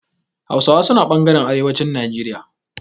Hausawa suna ɓangaren arewacin Najeriya.